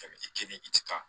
kelen i ti taa